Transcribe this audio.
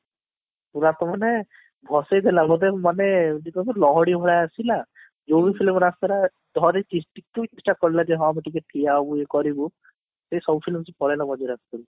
ପୁରା ତ ମାନେ ଭସେଇ ଦେଲା ବୋଧେ ମାନେ ଲହଡି ଭଳି ଆସିଲା ଧରିଛି ଟିକେ stop କରିଲାକି ହଁ ଟିକେ ଠିଆ ହୁଏ କରିବୁ ସେ ସବୁ film ପଳେଇଲା